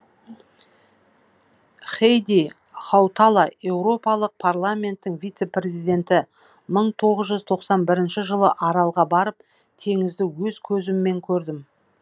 хейди хаутала еуропалық парламенттің вице президенті мың тоғыз жүз тоқсан бірінші жылы аралға барып теңізді өз көзіммен көрдім